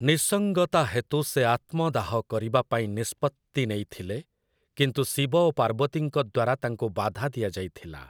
ନିଃସଙ୍ଗତା ହେତୁ ସେ ଆତ୍ମଦାହ କରିବା ପାଇଁ ନିଷ୍ପତ୍ତି ନେଇଥିଲେ, କିନ୍ତୁ ଶିବ ଓ ପାର୍ବତୀଙ୍କ ଦ୍ୱାରା ତାଙ୍କୁ ବାଧା ଦିଆଯାଇଥିଲା ।